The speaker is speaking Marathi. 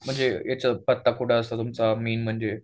म्हणजे याचं पत्ता कुठे असतो मेन म्हणजे.